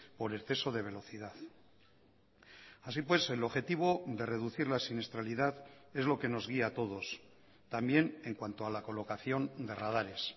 por exceso de velocidad así pues el objetivo de reducir la siniestralidad es lo que nos guía a todos también en cuanto a la colocación de radares